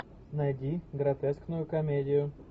найди гротескную комедию